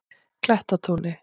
Klettatúni